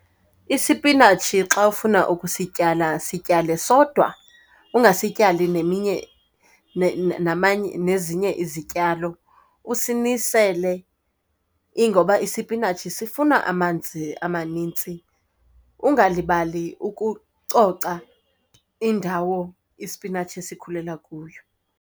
Isipinatshi xa ufuna ukusityala sityale sodwa, ungasityali neminye namanye nezinye izityalo, usinisele. Ingoba isipinatshi sifuna amanzi amaninzi. Ungalibali ukucoca indawo isipinatshi esikhulela kuyo.